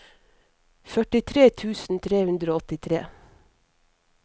førtitre tusen tre hundre og åttitre